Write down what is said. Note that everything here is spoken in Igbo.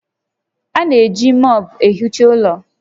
A na-eji mọọpụ ehicha ụlọ